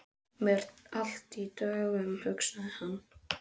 Hér er allt í dögun, hugsaði hann.